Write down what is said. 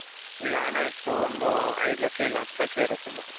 ಈಗ ಹಣ ಎಷ್ಟು ಒಂದು ಐದು ಲಕ್ಷ ಇಲ್ಲ ಹತ್ತ್ ಲಕ್ಷ ಇಲ್ಲ ಏದು ಲಕ್ಷ ಇಲ್ಲ ಹತ್ತು ಲಕ್ಷ ಇರುತ್ತೆ ನಿಮತ್ರ